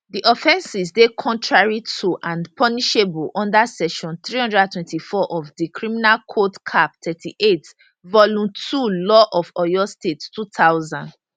di offences dey contrary to and punishable under section 324 of di criminal code cap 38 vol ii law of oyo state 2000